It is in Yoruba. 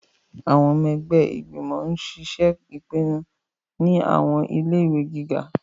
Awọn ọmọ ẹgbẹ igbimọ ń ṣiṣe ipinnu ni awọn ile-iwẹ giga